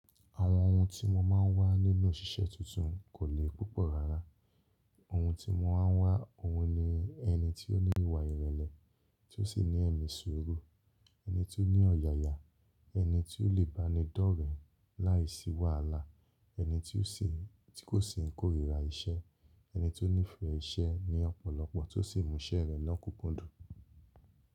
Àwọn ohun tí mo máa ń wá nínú òṣìṣẹ́ tuntun kò le púpọ̀ rárá. Ohun tí mo máa ń wá, òun ni ẹni tó ní ìwà ìrẹ̀lẹ̀, tó sì ní ẹ̀mí sùúrù, ẹni tó ní ọ̀yàyà, ẹni tí ó lè bá ni dọ́rẹ̀ẹ́ láìsí wàhálà, ẹni tí kò sì ń kórìíra iṣẹ́, ẹni tó nífẹ̀ẹ́ iṣẹ́ ní ọ̀pọ̀lọpọ̀, tó sì mú iṣẹ́ rẹ̀ lọ́kùnkúndùn.